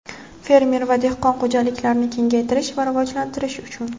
fermer va dehqon xo‘jaliklarini kengaytirish va rivojlantirish uchun.